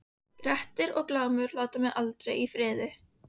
Grettir og Glámur láta mig aldrei í friði.